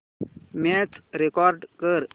match record कर